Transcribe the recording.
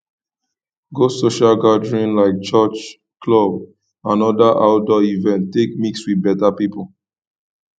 go social gatherings like church club and other outdoor events take mix with better pipo